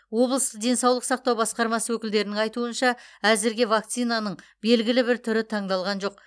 облыстық денсаулық сақтау басқармасы өкілдерінің айтуынша әзірге вакцинаның белгілі бір түрі таңдалған жоқ